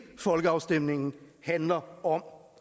folkeafstemningen handler om